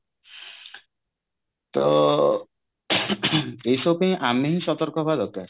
ତ ଏଇ ସବୁପାଇଁ ଆମେ ହି ସତର୍କ ହବା ଦରକାର